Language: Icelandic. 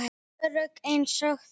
Örugg einsog þær.